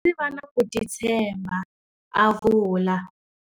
Ndzi va na ku titshemba, a vula.